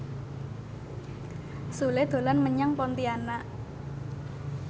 Sule dolan menyang Pontianak